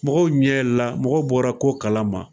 Mɔgɔw ɲɛ yɛlɛ la mɔgɔw bɔra ko kala ma